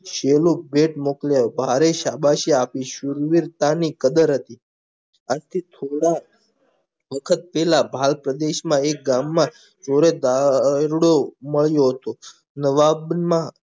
શેલું પેટ મોકલ્યા ભારે શાબાશી આપીશું શૂરવીરતાની કદર હતી આજથી થોડા વખત પેલા બાર પ્રદેશમાં એક ગામમાં નવાબના